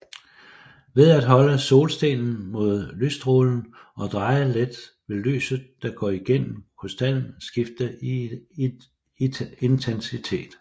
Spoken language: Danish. Ved at holde solstenen mod lystrålen og dreje let vil lyset der går igennem krystallen skifte i intensitet